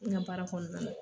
N ka baara kɔnɔna la